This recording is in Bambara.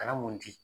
Kana mun di